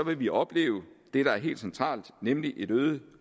vil vi opleve det der er helt centralt nemlig et øget